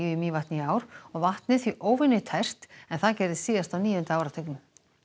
í Mývatni í ár og vatnið því óvenjutært en það gerðist síðast á níunda áratugnum